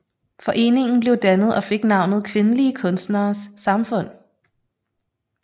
Foreningen blev dannet og fik navnet Kvindelige Kunstneres Samfund